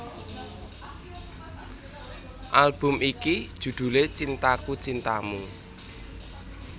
Album iki judhulé Cintaku Cintamu